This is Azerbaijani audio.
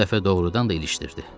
Bu dəfə doğrudan da ilişdirdi.